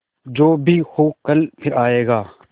जो भी हो कल फिर आएगा